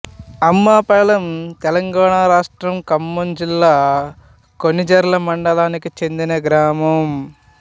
అమ్మపాలెంతెలంగాణ రాష్ట్రం ఖమ్మం జిల్లా కొణిజర్ల మండలానికి చెందిన గ్రామం